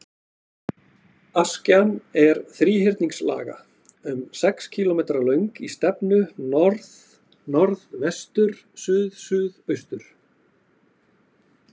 Askjan er þríhyrningslaga, um sex kílómetra löng í stefnu norðnorðvestur-suðsuðaustur.